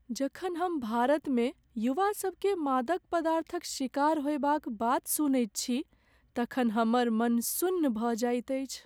जखन हम भारतमे युवासभकेँ मादक पदार्थक शिकार होयबाक बात सुनैत छी तखन हमर मन सुन्न भऽ जाइत अछि।